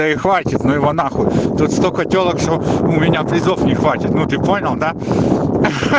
ну и хватит ну его нахуй тут столько тёлок у меня призов не хватит ну ты понял да